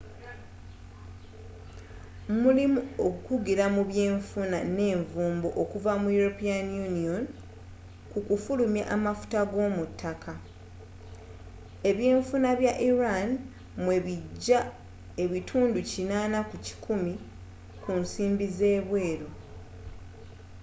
mulimu okukugira mu byenfuna ne nvumbo okuva mu european union ku kufulumya amafuta g'omu ttaka ebyenfuna bya iran mwe bijja 80% ku nsimbi ez'ebweru